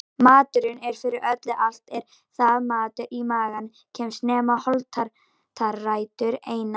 Maturinn er fyrir öllu allt er það matur í magann kemst nema holtarætur einar.